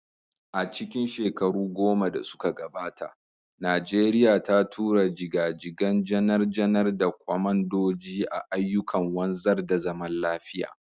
A cikin shekaru goma da suka gabata, Najeriya ta tura jiga-jigan janar-janar da kwamandoji a ayyukan wanzar da zaman lafiya.